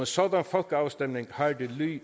sådan folkeafstemning har det